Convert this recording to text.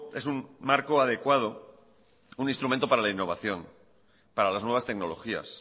es un instrumento para la innovación para las nuevas tecnologías